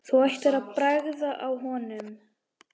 Þú ættir að bragða á honum